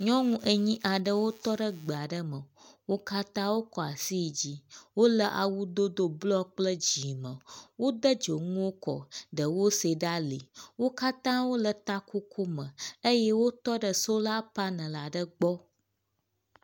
Nyɔnu enyi aɖewo tɔ ɖe gbe aɖe me. Wo katã wokɔ asi ɖe dzi. wo le awudodo blɔ kple dzi me. Wode dzonuwo kɔ ɖewo se ɖe ali. Wo katã wo le takoko me eye wo le sola panel aɖe gbɔ.